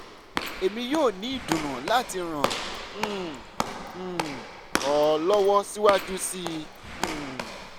emi yoo ni idunnu lati ran um um ọ lọwọ siwaju sii um